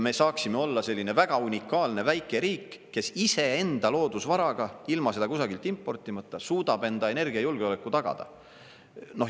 Me saaksime olla selline väga unikaalne väike riik, kes iseenda loodusvaraga, ilma seda kusagilt importimata, suudab enda energiajulgeoleku tagada.